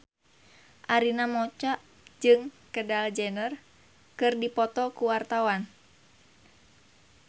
Arina Mocca jeung Kendall Jenner keur dipoto ku wartawan